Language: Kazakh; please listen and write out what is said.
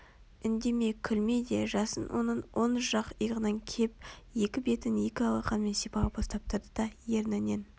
Үндеме күлме де жасын оның оң жақ иығынан кеп екі бетін екі алақанымен сипалап ұстап тұрды да ернінен